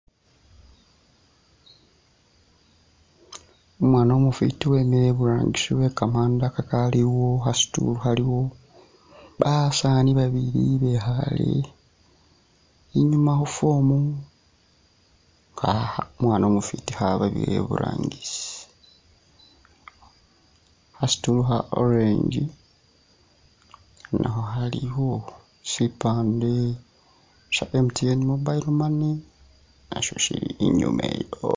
Umwaana umufwiti wemile iburangisi we kamanda kaliwo kha stool khaliwo. Basaani babili bekhaale inyuuma khu form kha umwaana umufwiti khababira iburangisi. Kha stool kha orange nakho khaliwo, sipaande sya MTN mobile money nasyo sili inyuuma eyo.